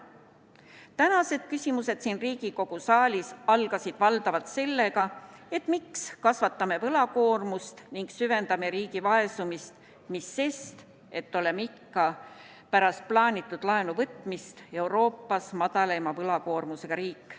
Tänased küsimused siin Riigikogu saalis algasid valdavalt sellega, et miks kasvatame võlakoormust ning süvendame riigi vaesumist, mis sellest, et oleme ka pärast plaanitud laenu võtmist Euroopas madalaima võlakoormusega riik.